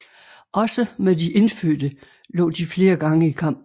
Også med de indfødte lå de flere gange i kamp